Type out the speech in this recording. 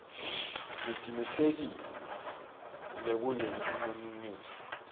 nitisikela kulelinonile mine